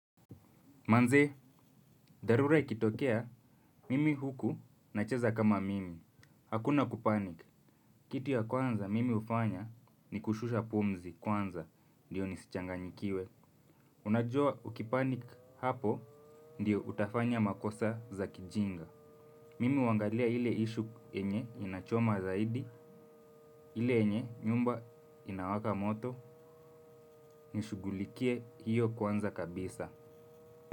Manze, dharura ikitokea, mimi huku nacheza kama mimi. Hakuna kupanic. Kitu ya kwanza mimi ufanya ni kushusha pumzi kwanza, ndiyo nisichanganyikiwe. Unajua ukipanic hapo, ndiyo utafanya makosa za kijinga. Mimi huangalia ile isue yenye inachoma zaidi, ile yenye nyumba inawaka moto, nishughulikie hiyo kwanza kabisa.